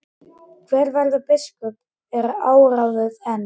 Hver verður biskup er óráðið enn.